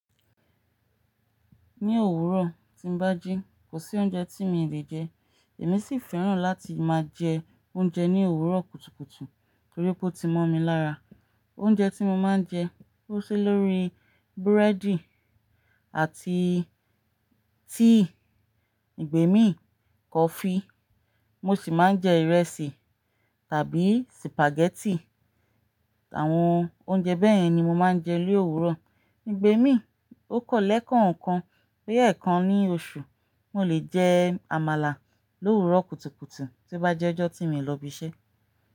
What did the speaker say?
Ní òwúrọ̀ tí ń bá jí, kò sí oúnjẹ tí mi lè jẹ. Èmi sì fẹ́ràn láti máa jẹ oúnjẹ ní òwúrọ̀ kùtùkùtù torípé ó ti mọ́ mi lára. Oúnjẹ tí mo máa ń jẹ, ó ṣí lórí búrẹ́dì àti tíì, ìgbẹ́mi, kọfí. Mo sì máa ń jẹ ìrẹsì tàbí sìpàgẹ́tì. Àwọn oúnjẹ bẹ́ẹ̀ yẹn ni mo máa ń jẹ lówúrọ̀. N gbẹ́mi, ó kọ́ lẹ̀ ẹ́ kọ̀ọ̀kan, pé ẹ́ẹ̀kan ní oṣù, mo lè jẹ àmàlà lórí òwúrọ̀ kùtùkùtù tí ó bá jẹ́ ọjọ́ tí mi ń lọ ibiṣẹ́.